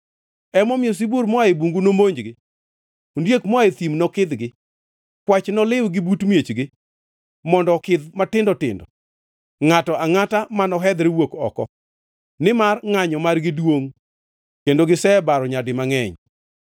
Emomiyo sibuor moa e bungu nomonjgi, ondiek moa e thim nokidhgi, kwach noliwgi but miechgi mondo okidh matindo tindo, ngʼato angʼata manohedhre wuok oko, nimar ngʼanyo margi duongʼ kendo gisebaro nyadi mangʼeny.